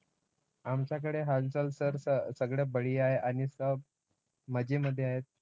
आमच्याकडे हालचाल sir सगळं बढिया आहे आणि सब मजेमध्ये आहेत.